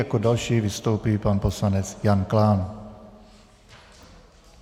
Jako další vystoupí pan poslanec Jan Klán.